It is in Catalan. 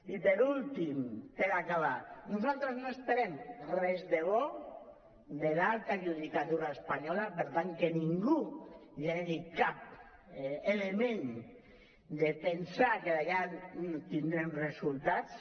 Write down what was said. i per últim per acabar nosaltres no esperem res de bo de l’alta judicatura espanyola per tant que ningú generi cap element de pensar que allà tindrem resultats